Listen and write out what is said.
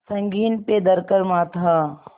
संगीन पे धर कर माथा